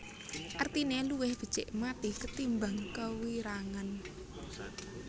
Artine luwih becik mathi ketimbang kewirangan